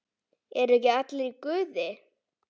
ERU EKKI ALLIR Í GUÐI?